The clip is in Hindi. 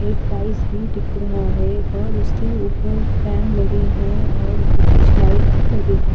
एक टाइल्स भी दिख रहा है और उसके ऊपर फैन लगे हैं और कुछ लाइट्स भी लगे हैं।